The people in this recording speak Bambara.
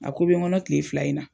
A ko bɛ n kɔnɔ kile fila in na.